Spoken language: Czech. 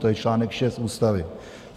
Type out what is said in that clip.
To je článek 6 Ústavy.